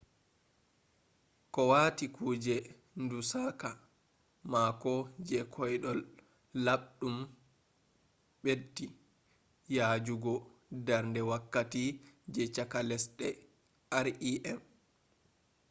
ko wati kuje ndu saka mako je koiɗol laɓɗum ɓeddi yajuugo darnde wakkati je cakka lesɗe rem